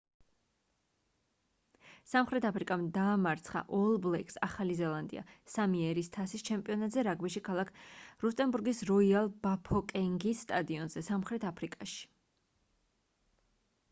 სამხრეთ აფრიკამ დაამარცხა all blacks ახალი ზელანდია სამი ერის თასის ჩემპიონატზე რაგბიში ქალაქ რუსტენბურგის როიალ ბაფოკენგის სტადიონზე სამხრეთ აფრიკაში